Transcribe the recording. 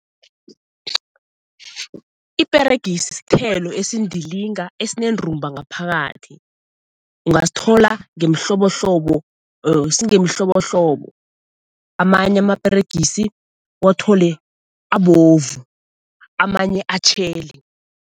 Iperegisi sithelo esindilinga esinendumba ngaphakathi. Ungasithola ngemihlobohlobo singemihlobohlobo, amanye amaperegisi uwathole abovu, amanye atjheli.